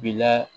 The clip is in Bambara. Bila